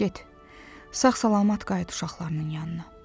Get, sağ-salamat qayıt uşaqlarının yanına.